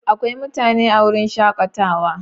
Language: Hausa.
Akwai mutane a wurin shakatawa?